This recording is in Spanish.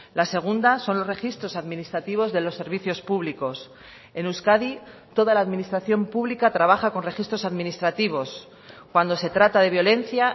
la segunda son los registros administrativos de los servicios públicos en euskadi toda la administración pública trabaja con registros administrativos cuando se trata de violencia